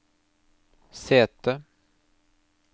sete